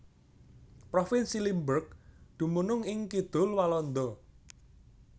Provinsi Limburg dumunung ing kidul Walanda